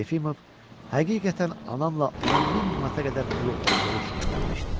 Yefimov həqiqətən anamla onun min manata qədər pulu olduğu üçün evlənmişdi.